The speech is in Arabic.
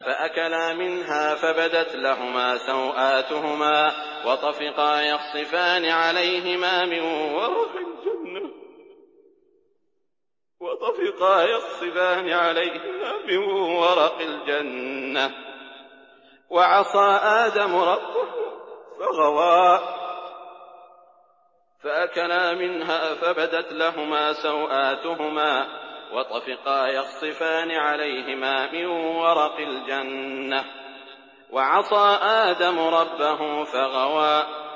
فَأَكَلَا مِنْهَا فَبَدَتْ لَهُمَا سَوْآتُهُمَا وَطَفِقَا يَخْصِفَانِ عَلَيْهِمَا مِن وَرَقِ الْجَنَّةِ ۚ وَعَصَىٰ آدَمُ رَبَّهُ فَغَوَىٰ